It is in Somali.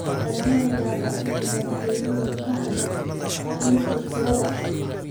lagama yaabo in madaxweynuhu ka hadlo arrinta kirada.